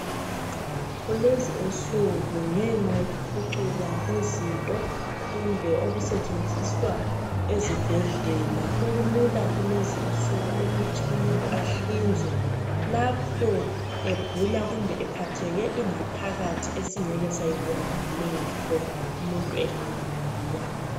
Kulezi nsuku ngenxa yokuphucuka kwezinto kumbe okusetshenziswa ezibhedlela sokulula kulezi insuku ukuthi umuntu ahlinzwe lapho egula kumbe ephatheke ingaphakathi esingeke sayibone ngamehlo umuntu ehamba laphaya.